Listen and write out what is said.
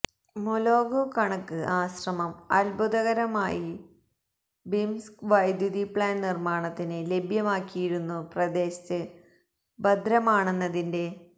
മൊലൊഗ കണക്ക് ആശ്രമം അത്ഭുതകരമായി ര്യ്ബിംസ്ക് വൈദ്യുതി പ്ലാന്റ് നിർമ്മാണത്തിന് ലഭ്യമാക്കിയിരുന്നു പ്രദേശത്ത് ഭദ്രമാണെന്നതിന്റെ